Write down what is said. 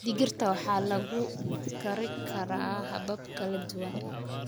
Digirta waxaa lagu kari karaa habab kala duwan.